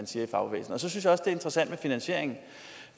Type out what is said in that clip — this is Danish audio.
siger i fagbevægelsen så det er interessant med finansieringen